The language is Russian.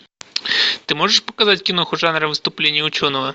ты можешь показать киноху жанра выступление ученого